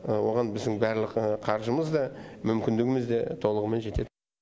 оған біздің барлық қаржымыз да мүмкіндігіміз де толығымен жетеді